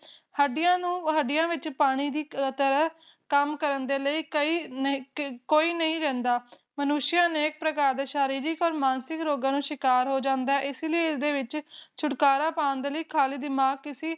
ਹੱਡੀਆਂ ਨੂੰ ਹੱਡੀਆਂ ਵਿੱਚ ਪਾਣੀ ਦੀ ਤਰ੍ਹਾਂ ਕੰਮ ਕਰਨ ਲਈ ਕੋਈ ਨਹੀਂ ਰਹਿੰਦਾ ਮਨੁਸ਼ ਅਨੇਕ ਪ੍ਰਕਾਰ ਦੇ ਸਰੀਰਕ ਮਾਨਸਿਕ ਰੋਗਾਂ ਦਾ ਸ਼ਿਕਾਰ ਹੋ ਜਾਂਦਾ ਹੈ ਇਸੇ ਲਈ ਇਸਦੇ ਵਿੱਚ ਛੁਟਕਾਰਾ ਪਾਉਂਣ ਦੇ ਲਈ ਖਾਲੀ ਦਿਮਾਗ ਕੇਸੇ